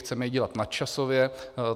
Chceme ji dělat nadčasově.